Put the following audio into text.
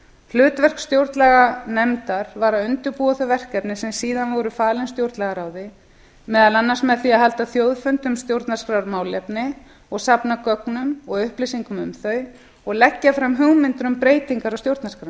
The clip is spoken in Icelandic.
hlutverk stjórnlaganefndar var að undirbúa þau verkefni sem síðar voru falin stjórnlagaráði meðal annars með því að halda þjóðfund um stjórnarskrármálefni og safna gögnum og upplýsingum um þau og leggja fram hugmyndir um breytingar á